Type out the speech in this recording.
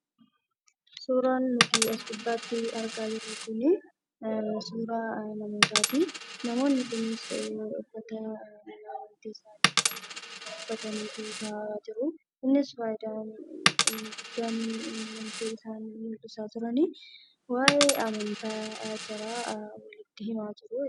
Suuraan nuti as gubbaatti argaa jirru kuni suuraa namootati. Namoonni kunis uffata mana amantii uffatanii taa'aa jiru. Kunis inni guddaan waa'ee amantaa walitti himaa jiru jechuudha.